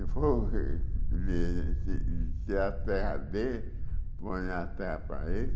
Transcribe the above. E foi... Ele ti tinha a terra, põe a terra para ele.